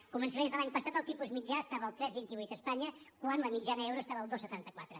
a començaments de l’any passat el tipus mitjà estava al tres coma vint vuit a espanya quan la mitjana euro estava al dos coma setanta quatre